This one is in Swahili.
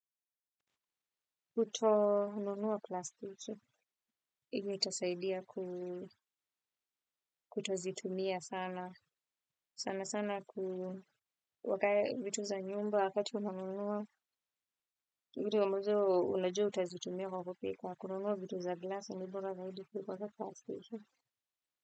Kutonunua plastiki, ivyo itasaidia kutozitumia sana, sana sana kuweka vitu za nyumba wakati unanunua, vitu ambazo unajua utazitumia kwa kupika kununua vitu za glasi ni bora zaidi kuliko za plastiki.